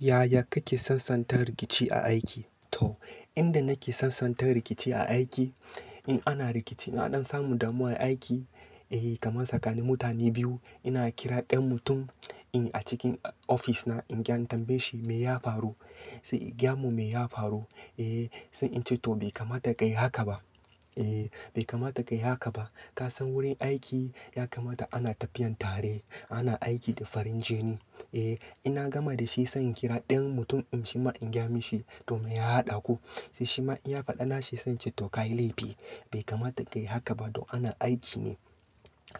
Yaya kake sansanta rikici a aiki? To, inda nake sansanta rikici a aiki, in ana rikici in an ɗan samu damuwa a aiki, eh kaman tsakanin mutane biyu. Ina kira ɗan mutum in a cikin ofis na in gyan tambaye shi me ya faru, sai gyamu me ya faru. Eh, sai ince to bai kamata kayi haka ba. Eh bai kamata kayi haka ba. Kasan wurin aiki ya kamata ana tafiya tare ana aiki da farin jini. Eh ina gama dashi sai in kira ɗayan mutum din shima in gyamu shi to me ya haɗa ku. Sai shima inya faɗa na sai ince to kayi laifi bai kamata kayi haka ba dom ana aiki ne.